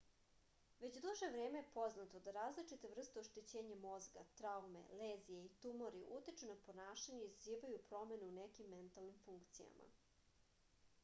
već duže vreme je poznato da različite vrste oštećenja mozga traume lezije i tumori utiču na ponašanje i izazivaju promene u nekim mentalnim funkcijama